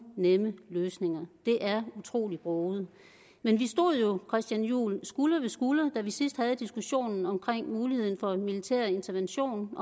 nemme løsninger det er utrolig broget men vi stod jo christian juhl skulder ved skulder da vi sidst havde diskussionen om muligheden for en militær intervention